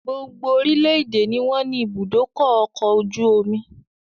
Gbogbo orílédé ni wọn ní ibùdókọ̀ ọkọ̀ ojú omi